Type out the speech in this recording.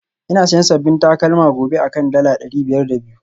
Ina siyan sabbin takalma gobe akan dala dari biyar da biyu